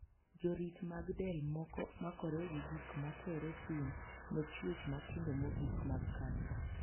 Jorit mag del moko makore gi gik ma tero sum ne chuech matindo mogik mag kansa.